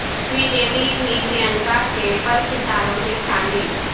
شری د UV بھی پرینکا کے پرستاروں میں شامل